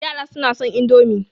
Yara suna son Indomi